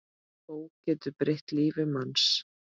Bók getur breytt lífi manns.